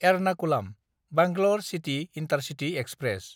एरनाकुलाम–बॆंगलूर city intercity express